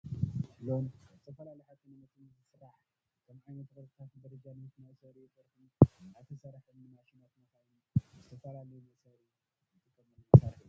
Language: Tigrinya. ብሎን ካብ ዝተፈላለዩ ሓፂን መፂን ዝስራሕ ከከምዓይነቱ ቅርፅታትን ደረጃን ምስ መአሰሪኡ ጥርሑን እንዳተሰረሓ ንማሽናትን መካይንን ንዝተፈላለዩ መእሰሪ ንጥቀመሉ መሳሪሒ እዩ።